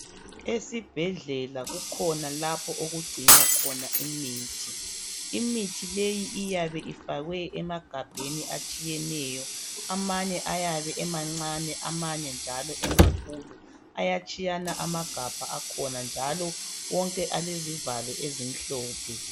Esibhedlela kukhona lapho okugcinwa khona imithi, imithi leyi iyabe ifakwe emagabheni atshiyeneyo, amanye ayabe emancane amanye njalo emakhulu, ayatshiyana amagabha akhona, njalo wonke alezivalo ezimhlophe.